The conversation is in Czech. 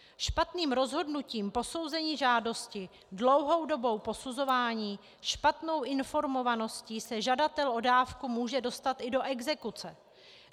Špatným rozhodnutím posouzení žádosti, dlouhou dobou posuzování, špatnou informovaností se žadatel o dávku může dostat i do exekuce.